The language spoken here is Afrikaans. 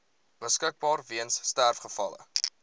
beskikbaar weens sterfgevalle